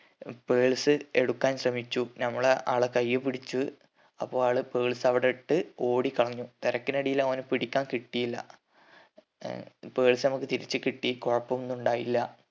purse എടുക്കാൻ ശ്രമിച്ചു നമ്മള് ആളെ കയ്യിപിടിച്ചു അപ്പോ ആള് purse അവിടെ ഇട്ട് ഓടിക്കളഞ്ഞു തെരക്കിനെടയിൽ ഓന പിടിക്കാൻ കിട്ടിയില്ല ഏർ purse നമ്മക് തിരിച്ച് കിട്ടി കൊയപ്പൊന്നും ഉണ്ടായില്ല